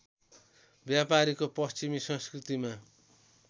व्यापारीको पश्चिमी संस्कृतिमा